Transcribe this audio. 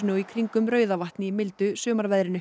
í kringum Rauðavatn í mildu